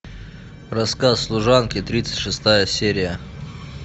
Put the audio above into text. рассказ служанки тридцать шестая серия